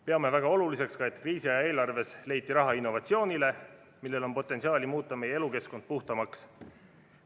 Peame väga oluliseks, et kriisiaja eelarves leiti raha innovatsioonile, millel on potentsiaali muuta meie elukeskkond puhtamaks.